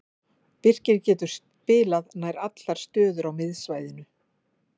Birkir getur spilað allar stöður á miðsvæðinu.